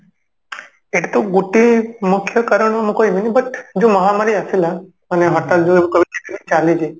ଏକ ତ ଗୋଟେ ମୁଖ୍ୟ କାରଣ ମୁଁ କହିବିନି but ଯଉ ମହାମାରୀ ଆସିଲା ଆମେ ହଠାତ